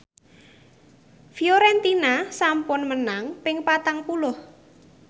Fiorentina sampun menang ping patang puluh